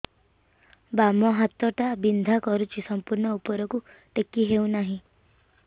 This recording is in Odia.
ବାମ ହାତ ଟା ବିନ୍ଧା କରୁଛି ସମ୍ପୂର୍ଣ ଉପରକୁ ଟେକି ହୋଉନାହିଁ